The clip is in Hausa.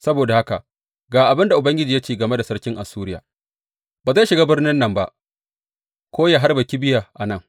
Saboda haka ga abin da Ubangiji ya ce game da sarkin Assuriya, Ba zai shiga birnin nan ba ko yă harba kibiya a nan.